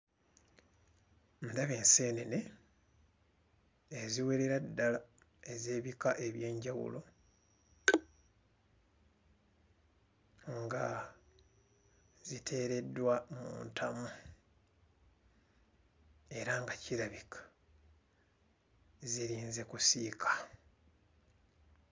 Ndaba enseenene eziwerera ddala ez'ebika eby'enjawulo nga ziteereddwa mu ntamu era nga kirabika zirinze kusiika.